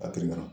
A bi na